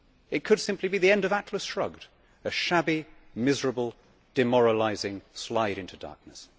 It could simply be the end of Atlas Shrugged a shabby, miserable, demoralising slide into darkness.